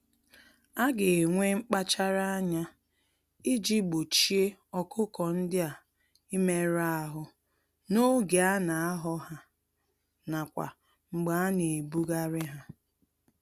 Aga enwe mkpachara ányá iji gbochie ọkụkọ ndịa imerụ ahụ n'oge ana ahọ ha, n'akwa mgbe ana-ebugharị ha.